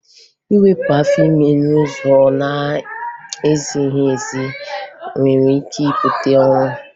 Iwepụ afọ ime n'ụzọ na-ezighi ezi nwere ike ibute ọnwụ